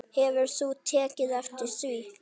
Hefur þú tekið eftir því?